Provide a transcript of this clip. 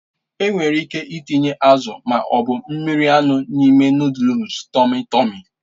Enwere ike ịtinye azụ ma ọ bụ mmiri anụ n'ime nụ́dúls tọmmy tọ̀mmy.